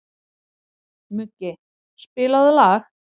Muggi, spilaðu lag.